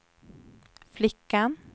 flickan